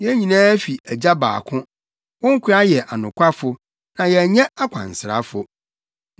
Yɛn nyinaa fi agya baako. Wo nkoa yɛ anokwafo, na yɛnyɛ akwansrafo.”